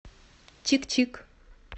чик чик